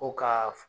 Ko ka